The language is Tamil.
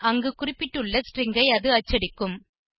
பின் அங்கு குறிப்பிட்டுள்ள ஸ்ட்ரிங் ஐ அது அச்சடிக்கும்